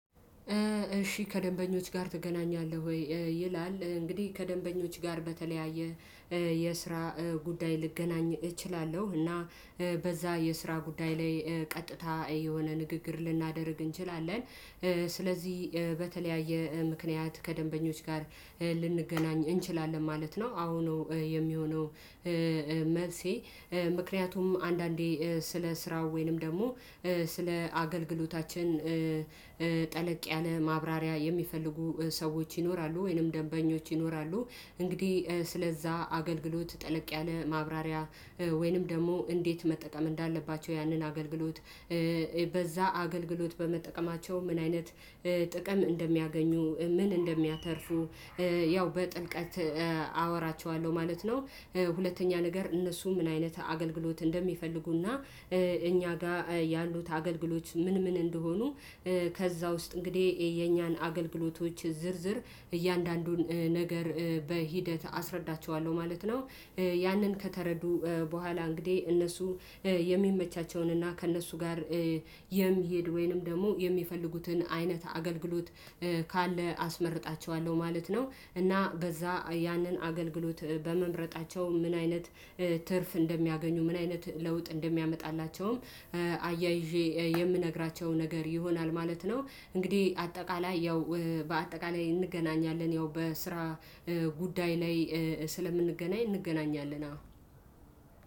እሺ ከደንበኞች ጋር ትገናኛለህ ወይ? ይላል እንግዲህ ከደንበኞች ጋር በተለያየ የስራ ጉዳይ ልገናኝ እችላለሁ እና በዛ የስራ ጉዳይ ላይ ቀጥታ የሆነ ንግግር ልናደርግ እንችላለን ስለዚህ በተለያየ ምክንያት ከደንበኞች ጋር ልንገናኝ እንችላለን ማለት ነው። አሁኑ የሚሆነው መልሴ ምክንያቱም አንዳንዴ ስለ ስራው ወይንም ደግሞ ስለ አገልግሎታችን ጠለቅ ያለ ማብራሪያ የሚፈልጉ ሰዎች ይኖራሉ ወይንም ደንበኞች ይኖራሉ እንግዲህ ስለዛ አገልግሎት ጠለቅ ያለ ማብራሪያ ወይንም ደግሞ እንዴት መጠቀም እንዳለባቸው ያንን አገልግሎት በዛ አገልግሎት በመጠቀማቸው ምን አይነት ጥቅም እንደሚያገኙ ምን እንደሚያተርፉ ያው በጥልቀት አወራቸዋለሁ ማለት ነው። ሁለተኛ ነገር እነሱ ምን አይነት አገልግሎት እንደሚፈልጉና እኛ ጋር ያሉት አገልግሎት ምን ምን እንደሆኑ ከዛ ውስጥ እንግዲህ የኛን አገልግሎቶች ዝርዝር እያንዳንዱን ነገር በሂደት አስረዳቸዋለሁ ማለት ነው። ያንን ከተረዱ በኋላ እንግዲህ እነሱ የሚመቻቸውን እና ከእነሱ ጋር የሚሄድ ወይንም ደግሞ የሚፈልጉትን አይነት አገልግሎት ካለ አስመርጣቸዋለሁ ማለት ነው። እና በዛ ያንን አገልግሎት በመምረጣቸው ምን አይነት ትርፍ እንደሚያገኙ ምን አይነት ለውጥ እንደሚያመጣላቸውም አያይዤ የምነግራቸው ነገር ይሆናል ማለት ነው። እንግዲህ አጠቃላይ ያው በአጠቃላይ እንገናኛለን ያው በስራ ጉዳይ ላይ ስለምንገናኝ እንገናኛለን አዎ።